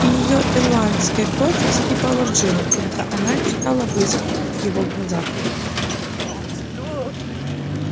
и её ирландская кровь закипала в жилах когда она читала вызов в его глазах